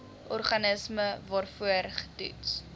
organisme waarvoor getoets